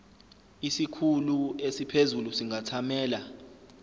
isikhulu esiphezulu singathamela